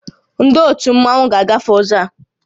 Ndị ótù Mmanwu a ga-agafe ụzọ a?